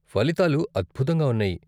ఫలితాలు అద్భుతంగా ఉన్నాయి.